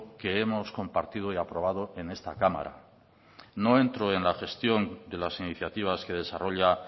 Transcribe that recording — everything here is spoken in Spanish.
que hemos compartido y aprobado en esta cámara no entro en la gestión de las iniciativas que desarrolla